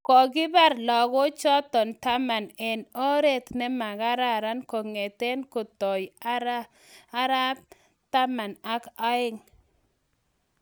kokibar lagook chotok taman eng or�t nemakararan ko'ngete kotoi ar�p taman ak aeng